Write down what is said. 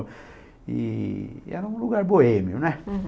E era um lugar boêmio, né? Uhum.